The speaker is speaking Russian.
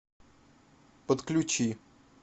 подключи